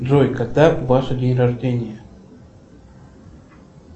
джой когда ваше день рождения